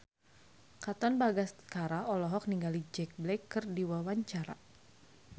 Katon Bagaskara olohok ningali Jack Black keur diwawancara